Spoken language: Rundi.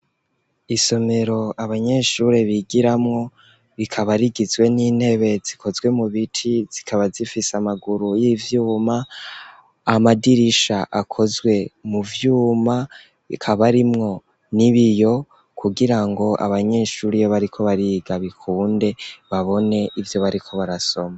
Isomero abanyeshure bigiramwo, rikaba rigizwe n'intebe zikozwe mu biti, zikaba zifise amaguru y'ivyuma, amadirisha akozwe mu vyuma ,akaba arimwo n'ibiyo kugira ngo abanyeshure iyo bariko bariga bikunde babone ivyo bariko barasoma.